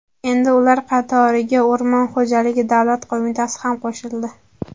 Endi ular qatoriga O‘rmon xo‘jaligi davlat qo‘mitasi ham qo‘shildi.